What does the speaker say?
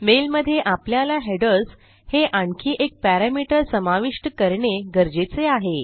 मेलमधे आपल्याला हेडर्स हे आणखी एक पॅरामीटर समाविष्ट करणे गरजेचे आहे